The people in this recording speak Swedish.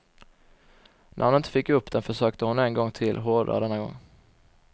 När hon inte fick upp den försökte hon en gång till, hårdare denna gång.